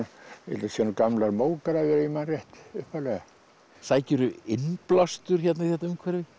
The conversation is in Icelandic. séu gamlar mógrafir ef ég man rétt sækirðu innblástur hérna í þetta umhverfi